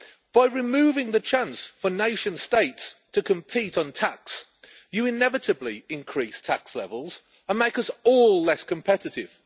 By removing the chance for nation states to compete on tax, you inevitably increase tax levels and make us all less competitive.